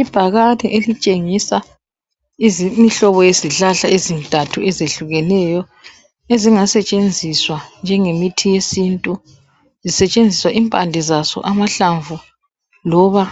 ibhakane elitshengisa imhlobo yezihlahla ezintathu ezehlukeneyo ezingasetshenziswa njengemithi yesintu kusetshenziswa impande zaso amahlamvu loba